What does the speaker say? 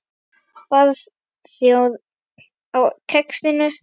Barþjónn á Kexinu?